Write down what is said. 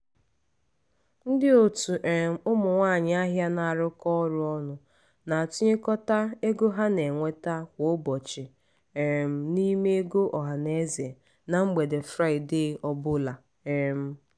ndị otu um ụmụ nwanyị ahịa na-arụkọ ọrụ ọnụ na-atụnyekọta ego ha na-enweta kwa ụbọchị um n'ime ego ọhanaeze na mgbede fraịde ọ bụla. um